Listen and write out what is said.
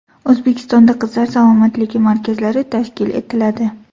O‘zbekistonda qizlar salomatligi markazlari tashkil etiladi.